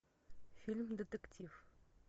фильм детектив